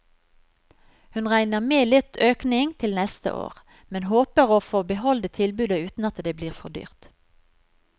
Hun regner med litt økning til neste år, men håper å få beholde tilbudet uten at det blir for dyrt.